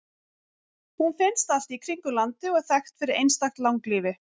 hún finnst allt í kringum landið og er þekkt fyrir einstakt langlífi